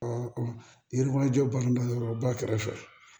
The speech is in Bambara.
yɔrɔ jɔ balanda yɔrɔ ba kɛrɛfɛ